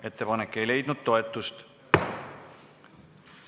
Ettepanek ei leidnud toetust.